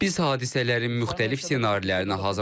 Biz hadisələrin müxtəlif ssenarilərinə hazırlaşırıq.